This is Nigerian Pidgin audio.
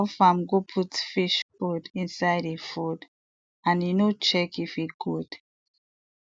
that fowl farm go put fish food inside e food and e no check if e good